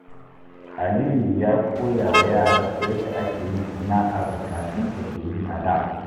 Aliyu ya koya wa yaransa yadda ake yin sana’ar da kakansa ke yi a da.